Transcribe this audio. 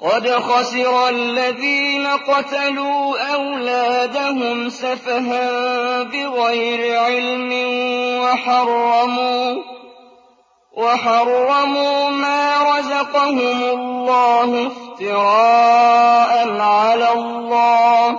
قَدْ خَسِرَ الَّذِينَ قَتَلُوا أَوْلَادَهُمْ سَفَهًا بِغَيْرِ عِلْمٍ وَحَرَّمُوا مَا رَزَقَهُمُ اللَّهُ افْتِرَاءً عَلَى اللَّهِ ۚ